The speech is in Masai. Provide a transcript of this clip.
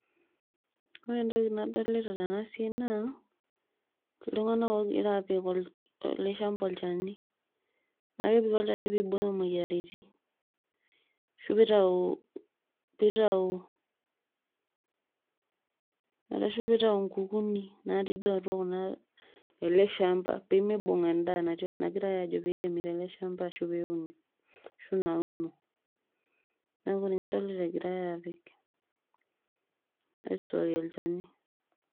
ore entoki nadolita tena siai naa iltunganak ogira apik ele shamba olchani naa kepiki olchani pibooyo moyiariti ashu pitau ,pitau ,arashu pitau nkukunik natii duo atua ele shamba pimibung enda nagirai ajo piremi tele shamba ashu peuni ashu nauno. neaku ninye adolta egirae apik aisuaaki olchani .